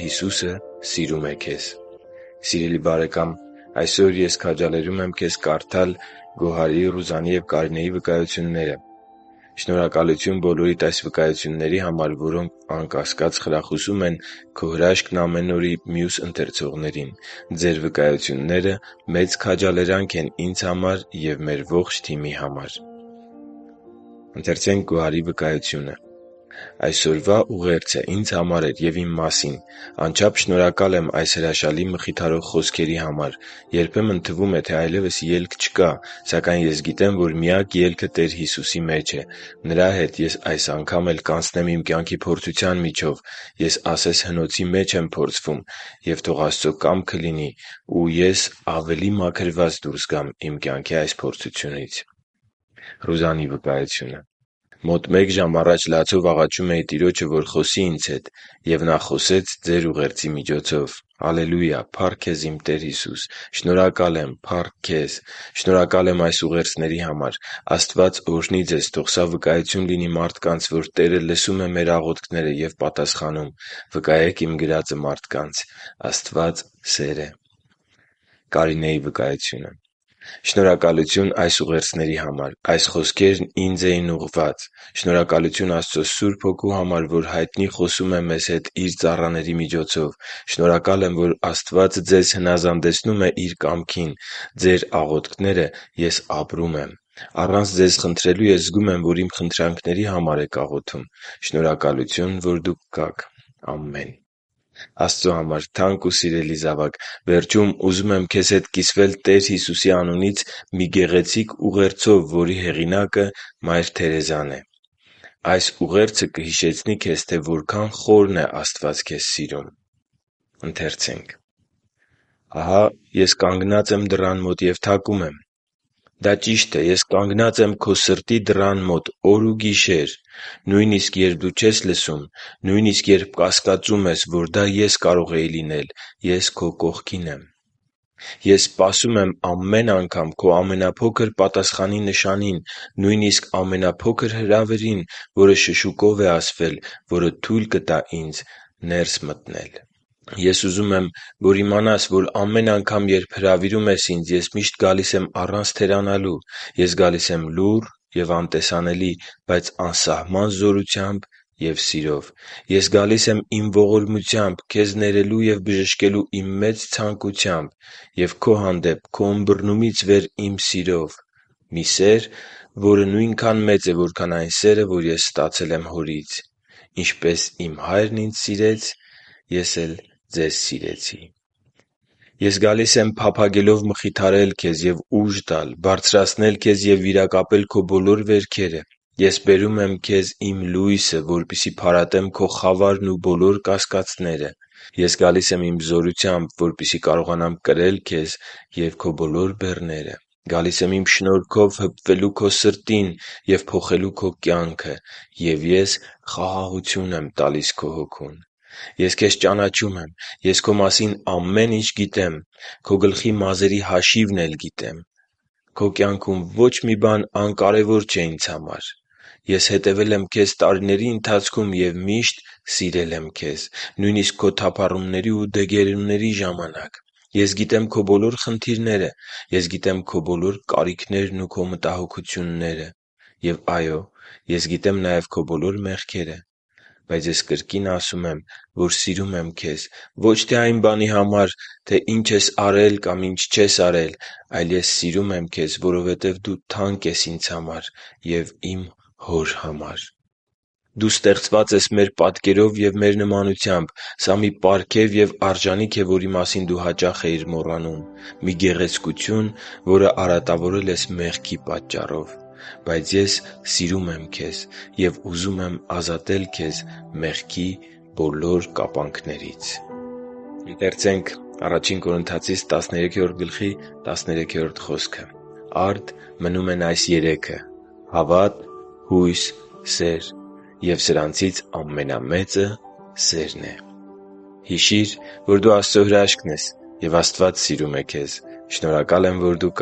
Հիսուսը սիրում է քեզ․․․ Սիրելի՛ բարեկամ, այսօր ես քաջալերում եմ քեզ կարդալ Գոհարի, Ռուզանի և Կարինեի վկայությունները: Շնորհակալություն բոլորիդ այս վկայությունների համար, որոնք, անկասկած, կխրախուսեն «Քո Հրաշքն՝ ամեն օր»-ի մյուս ընթերցողներին: Ձեր վկայությունները մեծ քաջալերանք են ինձ համար և մեր ողջ թիմի համար։ «Այսօրվա ուղերձը ինձ համար էր և իմ մասին։ Անչափ շնորհակալ եմ այս հրաշալի մխիթարող խոսքերի համար։ Երբեմն թվում է, թե ելք այլևս չկա։ Սակայն ես գիտեմ, որ միակ ելքը Տեր Հիսուսի մեջ է։ Նրա հետ ես այս անգամ էլ կանցնեմ իմ կյանքի փորձության միջով։ Ես ասես հնոցի մեջ եմ փորձվում։ Եվ թող Աստծո կամքը լինի և ես ավելի մաքրված դուրս գամ իմ կյանքի այս փորձությունից»: Գոհար «Մոտ մեկ ժամ առաջ լացով աղաչում էի Տիրոջը, որ խոսի ինձ հետ։ Եվ Նա խոսեց Ձեր ուղերձի միջոցով։ Ալելուիա՜։ Փա՜ռք Քեզ, իմ Տեր Հիսո՛ւս։ Շնորհակալ եմ։ Փա՜ռք Քեզ։ Շնորհակալ եմ այս ուղերձների համար։ Աստված օրհնի Ձեզ։ Թող սա վկայություն լինի մարդկանց, որ Տերը լսում է մեր աղոթքները և պատասխանում։ Վկայեք իմ այս գրածը մարդկանց։ Աստված Սեր է»։ Ռուզան «Շնորհակալություն այս ուղերձների համար։ Այս խոսքերն ինձ էին ուղղված։ Շնորհակալություն Աստծո Սուրբ Հոգու համար, որ հայտնի խոսում է մեզ հետ Իր ծառաների միջոցով։ Շնորհակալ եմ, որ Աստված Ձեզ հնազանդեցնում է Իր կամքին։ Ձեր աղոթքները ես ապրում եմ։ Առանց Ձեզ խնդրելու ես զգում եմ, որ իմ խնդրանքների համար եք աղոթում։ Շնորհակալություն, որ Դուք կաք։ Ամե՛ն»։ Կարինե Աստծո համար թանկ ու սիրելի՛ զավակ, վերջում ուզում եմ քեզ հետ կիսվել Տեր Հիսուսի անունից մի գեղեցիկ ուղերձով, որի հեղինակը Մայր Թերեզան է: Այս ուղերձը կհիշեցնի քեզ, թե որքան խորն է Աստված քեզ սիրում: «Ահա Ես կանգնած եմ դռան մոտ և թակում եմ…»։ Դա ճիշտ է. Ես կանգնած եմ քո սրտի դռան մոտ՝ օր ու գիշեր։ Նույնիսկ երբ դու չես լսում, նույնիսկ երբ կասկածում ես, որ դա Ես կարող էի լինել, Ես կողքիդ եմ: Ես սպասում եմ անգամ քո ամենափոքր պատասխանի նշանին, նույնիսկ ամենափոքր հրավերին, որը շշուկով է ասվել, որը թույլ կտա Ինձ ներս մտնել: Եվ ուզում եմ, որ իմանաս, որ ամեն անգամ, երբ հրավիրում ես Ինձ, Ես միշտ գալիս եմ առանց թերանալու: Ես գալիս եմ լուռ և անտեսանելի, բայց անսահման զորությամբ և սիրով: Ես գալիս եմ Իմ ողորմությամբ, քեզ ներելու և բժշկելու Իմ մեծ ցանկությամբ, և քո հանդեպ քո ըմբռնումից վեր սիրով՝ մի սեր, որը նույնքան մեծ է, որքան այն սերը, որը ես ստացել եմ Հորից («Ինչպես իմ Հայրն ինձ սիրեց. Ես ձեզ սիրեցի…» (Հովհ. 15.10)։ Ես գալիս եմ՝ փափագելով մխիթարել քեզ և ուժ տալ, բարձրացնել քեզ և վիրակապել քո բոլոր վերքերը: Ես բերում եմ քեզ Իմ լույսը, որպեսզի փարատեմ քո խավարն ու բոլոր կասկածները: Ես գալիս եմ Իմ զորությամբ, որպեսզի կարողանամ կրել քեզ և քո բոլոր բեռները. Գալիս եմ Իմ շնորհքով հպվելու քո սրտին և փոխելու քո կյանքը։ Եվ Ես խաղաղություն եմ տալիս քո հոգուն։ Ես քեզ ճանաչում եմ: Ես քո մասին ամեն ինչ գիտեմ։ Քո գլխի մազերի հաշիվն էլ գիտեմ։ Քո կյանքում ոչ մի բան անկարևոր չէ Ինձ համար: Ես հետևել եմ քեզ տարիների ընթացքում և միշտ սիրել եմ քեզ, նույնիսկ քո թափառումների ու դեգերումների ժամանակ: Ես գիտեմ քո բոլոր խնդիրները: Ես գիտեմ քո կարիքները և քո մտահոգությունները: Եվ այո՛, Ես գիտեմ նաև քո բոլոր մեղքերը: Բայց ես կրկին ասում եմ, որ ես սիրում եմ քեզ ոչ թե այն բանի համար, ինչ դու արել կամ չես արել։ Ես քեզ սիրում եմ, որովհետև դու թանկ ես Ինձ համար և Իմ Հոր համար։ Դու ստեղծված ես մեր պատկերով և մեր նմանությամբ: Սա մի պարգև և արժանիք է, որի մասին դու հաճախ էիր մոռանում, մի գեղեցկություն, որը արատավորել ես մեղքի պատճառով: Բայց ես սիրում եմ քեզ և ուզում եմ ազատել քեզ մեղքի բոլոր կապանքներից»: «Արդ, մնում են այս երեքը՝ հավատ, հույս, սեր, և սրանցից ամենամեծը սերն է»: (Ա Կորնթացիս 13.13) Հիշի՛ր, որ դու Աստծո հրաշքն ես, և Աստված սիրում է քեզ։ Շնորհակալ եմ, որ դու